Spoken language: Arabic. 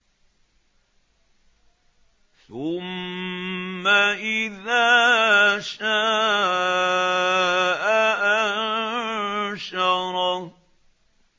ثُمَّ إِذَا شَاءَ أَنشَرَهُ